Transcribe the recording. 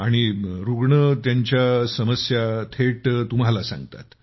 आणि रुग्ण त्यांच्या समस्या थेट तुम्हाला सांगतात